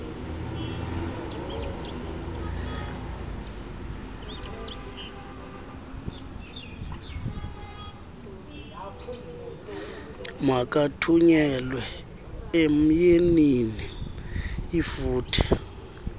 makathunyelwe emyeniinl lfuthe